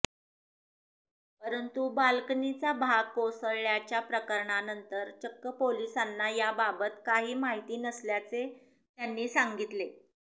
परंतु बाल्कनीचा भाग कोसळल्याच्या प्रकारानंतर चक्क पोलिसांना याबाबत काही माहिती नसल्याचे त्यांनी सांगितले